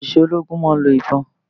Àwọn òṣìṣẹ́ ológun máa ń lo ìbọn